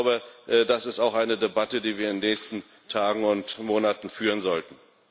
Ich glaube, das ist auch eine Debatte, die wir in den nächsten Tagen und Monaten führen sollten.